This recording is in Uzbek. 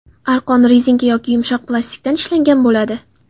Arqon rezinka yoki yumshoq plastikdan ishlangan bo‘ladi.